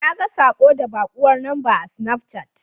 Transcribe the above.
Naga saƙo daga baƙuwar lamba a sinafcat.